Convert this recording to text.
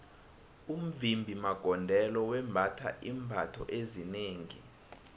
umvimbi magondelo wembatha iimbatho ezinengi